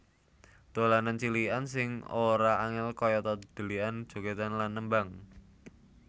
Dolanan cilikan sing ora angel kayata dhelikan jogedan lan nembang